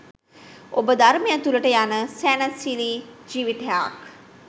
ඔබ ධර්මය තුළට යන සැනසිලි ජීවිතයක්